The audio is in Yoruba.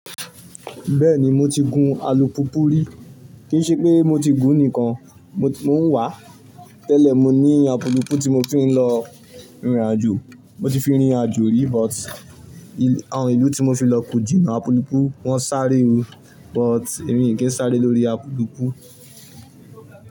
Bẹ́ẹ̀ni mo ti gun alùpùpù rí, kìí ṣe pé mo ti gùn nìkan, mo tu ń wàá. Tẹ́lẹ̀ mo ní apulupu tí mo fi ń lọ ìnrìn àjò, mo ti fi rìnrìn àjò rí but àwọn ìlú tí mo fi lọ kò jìnnà apulupu, wọ́n sáré o, but èmi kì í n sáré lórí apulupu.